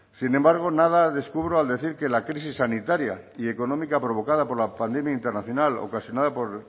sin embargo nada descubro al decir que la crisis sanitaria y económica provocada por la pandemia internacional ocasionada por